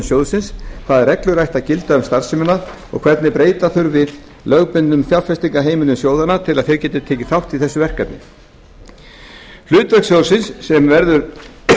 sjóðsins hvaða reglur ættu að gilda um starfsemina og hvernig breyta þurfi lögbundnum fjárfestingarheimildum sjóðanna til að þeir geti tekið þátt í þessu verkefni hlutverk sjóðsins sem verður